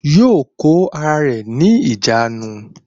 Yóò kó ara rẹ̀ ní ìjánu